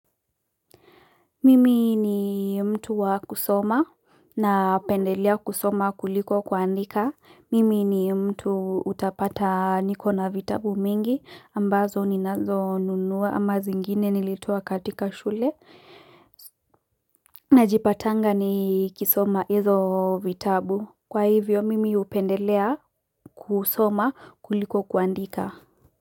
Mimi ni mtu wa kusoma na upendelea kusoma kuliko kuandika. Mimi ni mtu utapata nikona vitabu mingi ambazo ninazo nunua ama zingine nilitoa katika shule. Najipatanga ni kisoma hizo vitabu. Kwa hivyo, mimi upendelea kusoma kuliko kuandika.